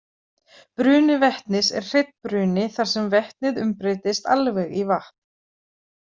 Bruni vetnis er hreinn bruni þar sem vetnið umbreytist alveg í vatn.